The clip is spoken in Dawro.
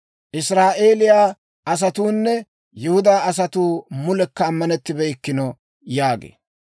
Israa'eeliyaa asatuunne Yihudaa asatuu mulekka ammanettibeykkino» yaagee.